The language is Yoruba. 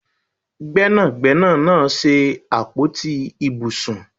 Gbẹ́nàgbẹ́nà náà ṣe àpótí ibùsùn